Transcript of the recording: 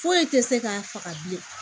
Foyi tɛ se k'a faga bilen